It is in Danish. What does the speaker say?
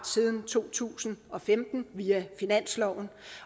siden to tusind og femten via finansloven